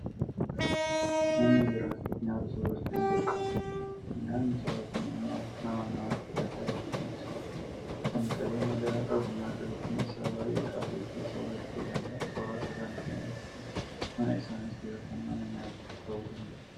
Namni jiraachuuf nyaata soorachuun dirqama. Nyaanni sooratamu immoo nama namatti adda adda. Kan qabeenya gahaa qabu nyaata gatiin isaa baay'ee qaalii ta'e soorachuu danda'a. Soorata kana kan argatan mana isaanitti yookaan mana nyaataatti ta'uu danda'u.